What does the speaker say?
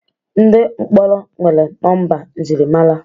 ndị mkpọrọ nwere nọmba njirimara